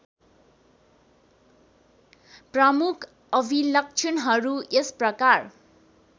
प्रमुख अभिलक्षणहरू यसप्रकार